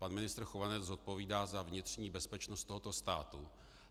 Pan ministr Chovanec zodpovídá za vnitřní bezpečnost tohoto státu.